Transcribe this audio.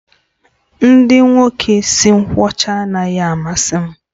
Ndị nwoke isi nkwọcha anaghị amasị m